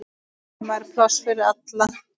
Heima er pláss fyrir alla.